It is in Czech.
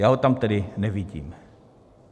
Já ho tam tedy nevidím.